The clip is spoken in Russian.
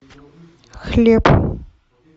хлеб